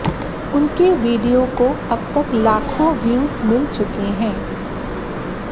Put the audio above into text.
उनके वीडियो को अब तक लाखों व्यूज मिल चुके हैं